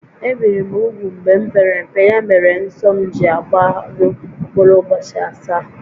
Ebìri m úgwù mgbe m pere mpe, ya mere nsọ m ji agbaru mkpụrụ ụbọchị asaá